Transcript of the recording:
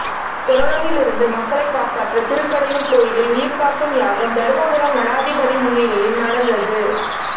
கொரோனாவில் இருந்து மக்களை காப்பாற்ற திருக்கடையூர் கோயிலில் உயிர்காக்கும் யாகம் தருமபுரம் மடாதிபதி முன்னிலையில் நடந்தது